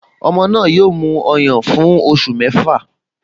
Ọmọ náà yóò mu ọyàn fún oṣù mẹ́fà